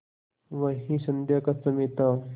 वही संध्या का समय था